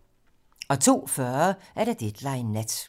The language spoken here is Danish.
02:40: Deadline nat